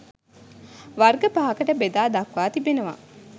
වර්ග පහකට බෙදා දක්වා තිබෙනවා